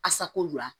Asako lo